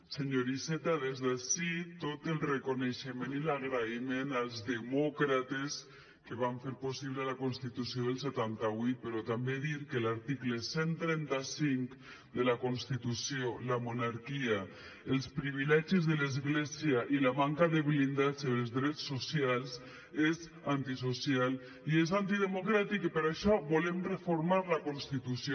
senyor iceta des d’ací tot el reconeixement i l’agraïment als demòcrates que van fer possible la constitució del setanta vuit però també dir que l’article cent i trenta cinc de la constitució la monarquia els privilegis de l’església i la manca de blindatge dels drets socials és antisocial i és antidemocràtic i per això volem reformar la constitució